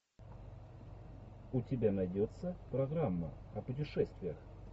у тебя найдется программа о путешествиях